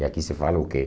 E aqui se fala o quê?